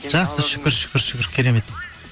жақсы шүкір шүкір шүкір керемет